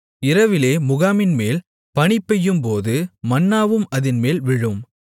இரவிலே முகாமின்மேல் பனிபெய்யும்போது மன்னாவும் அதின்மேல் விழும்